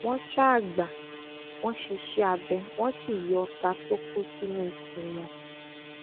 wọn ṣáà gbà wọn ṣíṣẹ abẹ wọn sì yọ ọta tó kó sínú ikùn wọn